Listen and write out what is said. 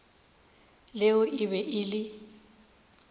leo e be e le